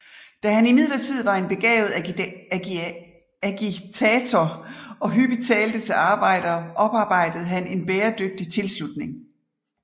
Da han imidlertid var en begavet agitator og hyppigt talte til arbejdere oparbejdede han en bæredygtig tilslutning